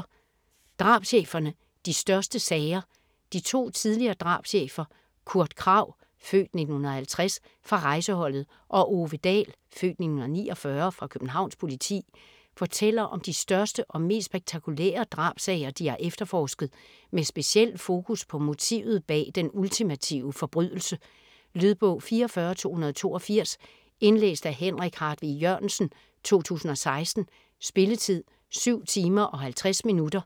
Drabscheferne - de største sager De to tidligere drabschefer Kurt Kragh (f. 1950) fra Rejseholdet og Ove Dahl (f. 1949) fra Københavns Politi fortæller om de største og mest spektakulære drabssager, de har efterforsket - med speciel fokus på motivet bag den ultimative forbrydelse. Lydbog 44282 Indlæst af Henrik Hartvig Jørgensen, 2016. Spilletid: 7 timer, 50 minutter.